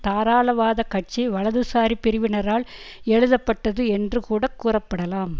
தாராளவாத கட்சி வலதுசாரி பிரிவானரால் எழுதப்பட்டது என்று கூட கூறப்படலாம்